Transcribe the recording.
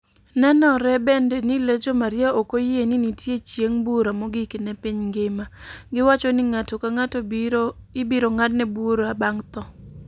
Nenore bende ni Legio Maria ok oyie ni nitie chieng' bura mogik ne piny mangima. Giwacho ni ng'ato ka ng'ato ibiro ng'adne bura bang' tho.